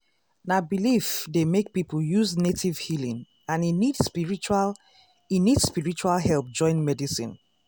um religion um wey teach native healing fit make hospital change their way to support am.